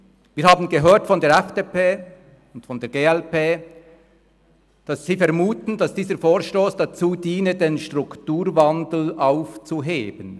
Wir haben von der FDP und der glp gehört, dass sie vermuten, dieser Vorstoss diene dazu, den Strukturwandel aufzuheben.